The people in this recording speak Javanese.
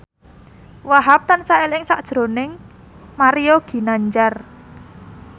Wahhab tansah eling sakjroning Mario Ginanjar